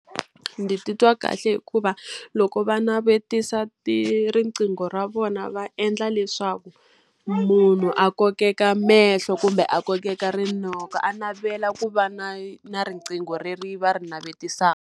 Ndzi titwa kahle hikuva loko va navetisa riqingho ra vona va endla leswaku, munhu a kokeka mehlo kumbe a kokeka rinoko. A navela ku va na na riqingho leri va ri navetisaka.